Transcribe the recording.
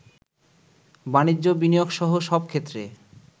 বাণিজ্য বিনিয়োগসহ সব ক্ষেত্রে